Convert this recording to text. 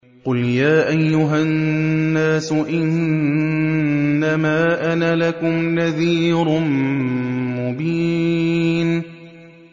قُلْ يَا أَيُّهَا النَّاسُ إِنَّمَا أَنَا لَكُمْ نَذِيرٌ مُّبِينٌ